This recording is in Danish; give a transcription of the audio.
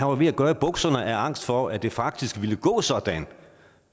var ved at gøre i bukserne af angst for at det faktisk ville gå sådan